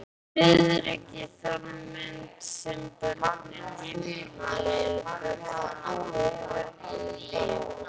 Friðrik í þann mund sem börnin heimtu boltann að nýju.